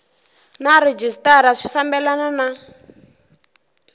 na rhejisitara swi fambelena na